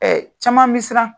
Caman bɛ siran.